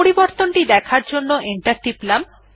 পরিবর্তন দেখার জন্য এন্টার টিপলাম